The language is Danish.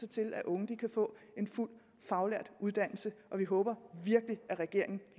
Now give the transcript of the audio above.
til at unge kan få en fuld faglært uddannelse og vi håber virkelig at regeringen